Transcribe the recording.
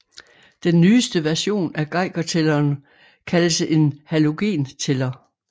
Den nyeste version af Geigertælleren kaldes en halogentæller